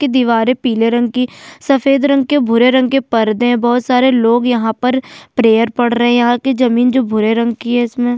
की दीवारें पीले रंग की सफेद रंग के भूरे रंग के पर्दे हैं बहुत सारे लोग यहाँ पर प्रेयर पढ़ रहे हैं यहाँ की जमीन जो भूरे रंग की है इसमें--